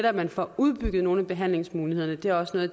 at man får udbygget nogle af behandlingsmulighederne det er også noget